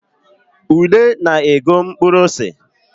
Ude na-ego mkpuru ose